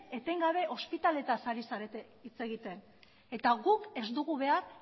etengabe ospitaleetaz ari zarete hitz egiten eta guk ez dugu behar